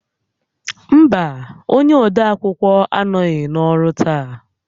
Mba, onye odeakwụkwọ anọghị n'ọrụ taa